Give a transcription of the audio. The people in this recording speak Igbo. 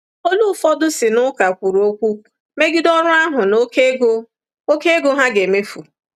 Olu ụfọdụ si n'ụka kwuru okwu megide ọrụ ahụ na oké ego oké ego ha ga-emefu.